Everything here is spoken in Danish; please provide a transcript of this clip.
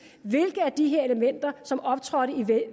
hvilke af de her elementer som optrådte i